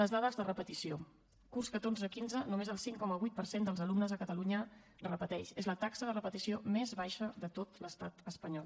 les dades de repetició curs catorze quinze només el cinc coma vuit per cent dels alumnes a catalunya repeteix és la taxa de repetició més baixa de tot l’estat espanyol